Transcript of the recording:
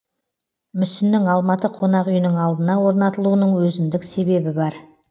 мүсіннің алматы қонақүйінің алдына орнатылуының өзіндік себебі бар